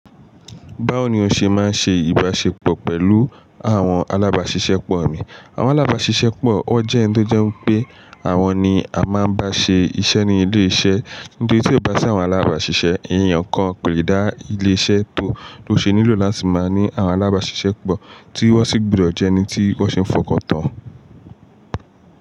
Báwo ni o ṣe máa ń ṣe ìbáṣepọ̀ pẹ̀lú àwọn alábáṣiṣẹ́pọ̀ rẹ? Àwọn alábáṣiṣẹ́pọ̀ ọ jẹ́ ẹni tó jẹ́ wípé àwọn ni a máa ń bá ṣe iṣẹ́ ní ilé iṣẹ́. Nítorí tí ó bá sí àwọn alábáṣiṣẹ́, ẹ̀yàn kan kò lè dá ilé iṣẹ́ tó ló ṣe nílò láti máa ní àwọn alábáṣiṣẹ́pọ̀ tí wọ́n sì gbọdọ̀ jẹ́ ẹni tí wọ́n ṣe ń fọkàn tán.